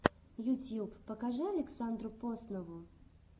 ютьюб покажи александру поснову